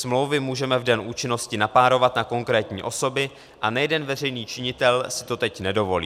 Smlouvy můžeme v den účinnosti napárovat na konkrétní osoby, a nejeden veřejný činitel si to teď nedovolí.